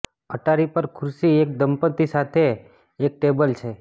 અટારી પર ખુરશી એક દંપતી સાથે એક ટેબલ છે